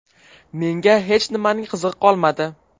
Menga hech nimaning qizig‘i qolmadi.